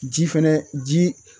Ji fɛnɛ ji